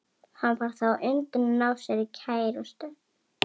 Hann varð þá á undan að ná sér í kærustu.